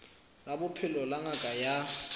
la bophelo la ngaka ya